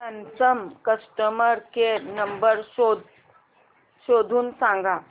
Samsung customer care number शोधून सांग